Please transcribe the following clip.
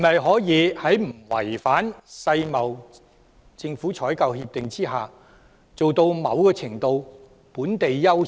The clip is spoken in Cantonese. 可否在不違反《世界貿易組織政府採購協定》下，做到某程度上的"本地優先"？